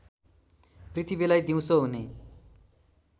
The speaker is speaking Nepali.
पृथ्वीलाई दिउँसो हुने